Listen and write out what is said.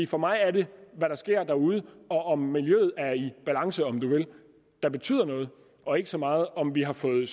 for mig er det hvad der sker derude og om miljøet er i balance om du vil der betyder noget og ikke så meget om vi har fået